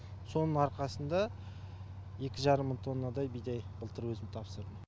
соның арқасында екі жарым мың тоннадай бидай былтыр өзім тапсырдым